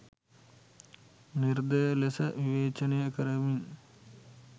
නිර්දය ලෙස විවේචනය කරමින්